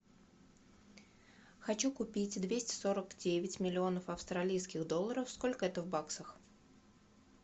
хочу купить двести сорок девять миллионов австралийских долларов сколько это в баксах